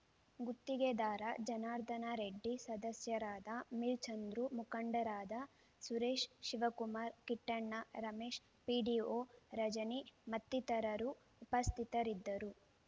ಗುತ್ತಿಗೆದಾರ ಜನಾರ್ಧನರೆಡ್ಡಿ ಸದಸ್ಯರಾದ ಮಿಲ್ ಚಂದ್ರು ಮುಖಂಡರಾದ ಸುರೇಶ್ ಶಿವಕುಮಾರ್ ಕಿಟ್ಟಣ್ಣ ರಮೇಶ್ ಪಿಡಿಓ ರಜನಿ ಮತ್ತಿತರರು ಉಪಸ್ಥಿತರಿದ್ದರು